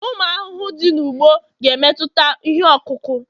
ụmụ ahụhụ dị n'ugbo, ga-emetụta ihe ọkụkụ